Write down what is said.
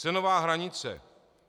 Cenová hranice,